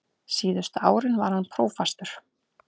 Síðustu árin var hann prófastur.